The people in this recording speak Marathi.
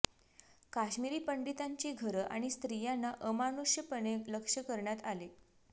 कश्मिरी पंडितांची घरं आणि स्त्रियांना अमानुषपणे लक्ष्य करण्यात आले